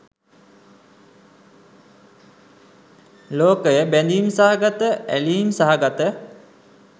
ලෝකය බැඳීම් සහගත ඇලීම් සහගත